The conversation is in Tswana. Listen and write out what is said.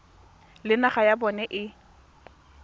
le naga ya bona e